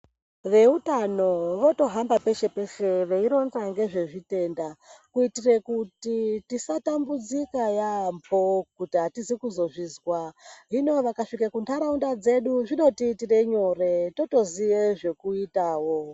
Veutano votohamba peshe peshe veironza ngezvezvitenda kuitire kuti tisatambidzika yaambo kuti hatizi kuzozvizwa. Hino vakasvika kuntaraunda dzedu, zvinotiitira nyore, totoziye zvekuitawo.